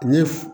Ni f